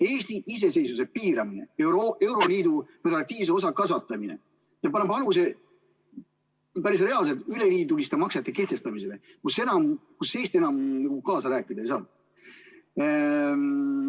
Eesti iseseisvuse piiramine, euroliidu regulatiivse osa kasvatamine paneb aluse päris reaalselt üleliiduliste maksete kehtestamisele, kus Eesti enam kaasa rääkida ei saa.